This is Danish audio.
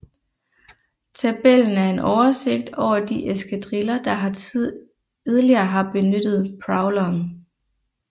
Tabellen er en oversigt over de eskadriller der har tidligere har benyttet Prowleren